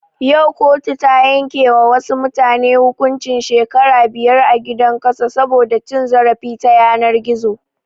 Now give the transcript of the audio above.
Yau kotu ta yanke wa wasu mutane hukuncin shekara biyar a gidan kaso saboda cin zarafi ta yanar gizo